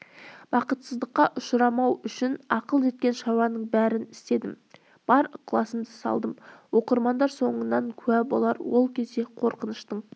бақытсыздыққа ұшырамау үшін ақыл жеткен шаруаның бәрін істедім бар ықыласымды салдым оқырмандар соңынан куә болар ол кезде қорқыныштың